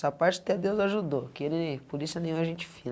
Essa parte até Deus ajudou, que ele, polícia nenhuma, é gente fina.